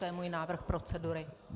To je můj návrh procedury.